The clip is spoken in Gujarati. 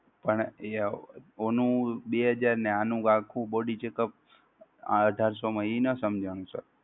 પણ એ ઓનું બે હજાર ને આખું body checkup અઢારસો માં એ ના સમજણું sir